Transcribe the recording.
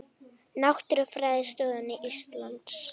Náttúrufræðistofnun Íslands.